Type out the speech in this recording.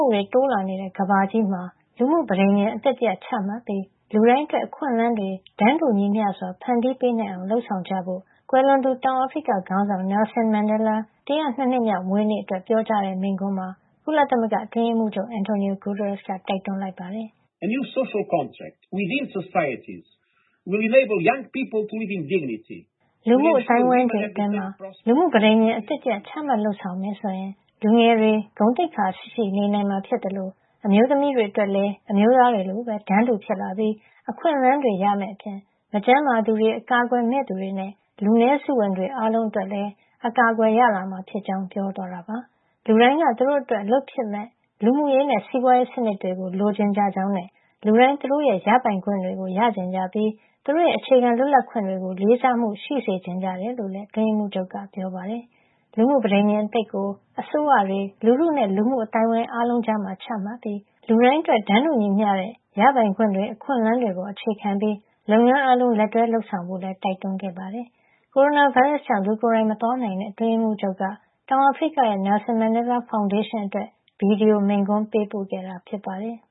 ှုတွေ တိုးလာနေတဲ့ ကမ္ဘာကြီးမှာ လူမှုပဋိညာဉ်အသစ်တရပ် ချမှတ်ပြီး လူတိုင်းအတွက် အခွင့်အလမ်းတွေ တန်းတူညီမျှစွာ ဖန်တီးပေးနိုင်အောင် လုပ်ဆောင်ကြဖို့ ကွယ်လွန်သူ တောင်အာဖရိကခေါင်းဆောင် နယ်လ်ဆင်မန်ဒဲလား ၁၀၂ နှစ်မြောက်မွေးနေ့အတွက် ပြောကြားတဲ့ မိန့်ခွန်းမှာ ကုလသမဂ္ဂ အတွင်းရေးမှူးချုပ် Antonio Guterres က တိုက်တွန်းလိုက်ပါတယ်။ “လူမှုအသိုင်းအဝိုင်းတွေ အတွင်းမှာ လူမှုပဋိညာဉ် အသစ်တရပ် ချမှတ်လုပ်ဆောင်မယ်ဆိုရင် လူငယ်တွေ ဂုဏ်သိက္ခာရှိရှိ နေနိုင်မှာဖြစ်သလို အမျိုးသမီးတွေအတွက်လည်း အမျိုးသားတွေလိုပဲ တန်းတူဖြစ်လာပြီး အခွင့်အလမ်းတွေ ရမယ့်အပြင် မကျန်းမာသူတွေ၊ အကာကွယ်မဲ့တွေနဲ့ လူနည်းစုဝင်တွေ အားလုံးအတွက်လည်း အကာအကွယ်ရလာမှာဖြစ်ကြောင်း” ပြောသွားတာပါ။ လူတိုင်းက သူတို့အတွက် အလုပ်ဖြစ်မယ့် လူမှုရေးနဲ့ စီးပွားရေးစနစ်တွေကို လိုချင်ကြကြောင်းနဲ့ လူတိုင်း သူတို့ရဲ့ ရပိုင်ခွင့်တွေ ရချင်ကြပြီး သူတို့ရဲ့ အခြေခံလွတ်လပ်ခွင့်တွေကို လေးစားမှု ရှိစေချင်ကြတယ်လို့လည်း အတွင်းရေးမှူးချုပ်က ပြောပါတယ်။ လူမှုပဋိညာဉ်အသစ်ကို အစိုးရတွေ၊ လူထုနဲ့ လူမှုအသိုင်းဝိုင်း အားလုံးကြား ချမှတ်ပြီး လူတိုင်းအတွက် တန်းတူညီမျှတဲ့ ရပိုင်ခွင့်တွေ၊ အခွင့်အလမ်းတွေပေါ် အခြေခံပြီး လုပ်ငန်းအားလုံး လက်တွဲလုပ်ဆောင်ကြဖို့လည်း တိုက်တွန်းခဲ့ပါတယ်။ ကိုရိုနာဗိုင်းရပ်စ်ကြောင့် လူကိုယ်တိုင်မသွားနိုင်တဲ့ အတွင်းရေးမှူးချုပ်က တောင်အာဖရိကရဲ့ နယ်လ်ဆင်မန်ဒဲလား ဖောင်ဒေးရှင်းအတွက် ဗွီဒီယိုမိန့်ခွန်း ပေးပို့ခဲ့တာ ဖြစ်ပါတယ်။